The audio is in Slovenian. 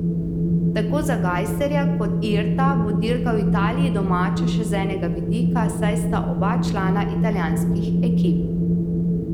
Tako za Gajserja kot Irta bo dirka v Italiji domača še z enega vidika, saj sta oba člana italijanskih ekip.